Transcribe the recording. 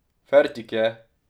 Fertik je!